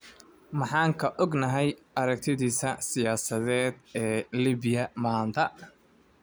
Maxaan ka ognahay aragtidiisa siyaasadeed ee Liibiya maanta?